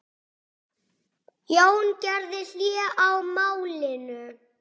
Jón gerði hlé á málinu.